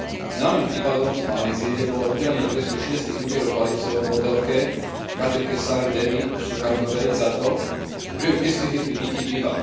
Známym prípadom z Malajzie bolo udelenie trestu šiestich úderov palicou modelke Kartike Sari Dewi Šukarnovej za to, že ju pristihli pri pití piva.